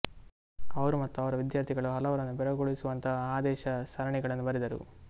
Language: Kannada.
ಅವರು ಮತ್ತು ಅವರ ವಿದ್ಯಾರ್ಥಿಗಳು ಹಲವರನ್ನು ಬೆರಗುಗೊಳಿಸುವಂತಹ ಆದೇಶ ಸರಣಿಗಳನ್ನು ಬರೆದರು